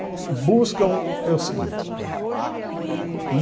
Buscam é o seguinte.